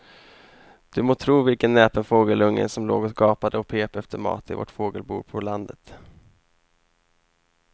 Du må tro vilken näpen fågelunge som låg och gapade och pep efter mat i vårt fågelbo på landet.